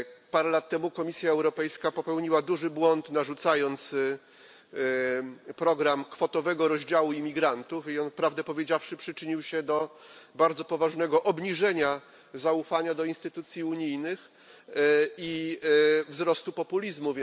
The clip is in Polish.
Parę lat temu Komisja Europejska popełniła duży błąd, narzucając program kwotowego rozdziału imigrantów i on, prawdę powiedziawszy, przyczynił się do bardzo poważnego obniżenia zaufania do instytucji unijnych oraz wzrostu populizmu.